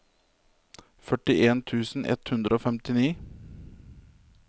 førtien tusen ett hundre og femtini